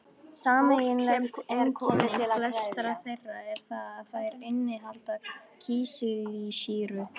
Sameiginlegt einkenni flestra þeirra er það að þær innihalda kísilsýru